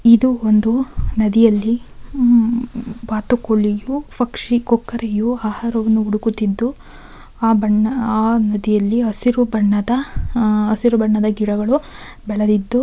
ಇದು ಒಂದು ನದಿಯಲ್ಲಿ ಬಾತುಕೋಳಿಯು ಪಕ್ಷಿ ಕೊಕ್ಕರೆಯು ಆಹಾರವನ್ನು ಹುಡುಕುತಿದ್ದು ಆ ಬಣ್ಣ ಆ ನದಿಯಲ್ಲಿ ಹಸಿರು ಬಣ್ಣದ ಹಸಿರು ಬಣ್ಣದ ಗಿಡಗಳು ಬೆಳದಿದ್ದು --